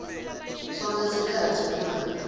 sonkhe sikhatsi uma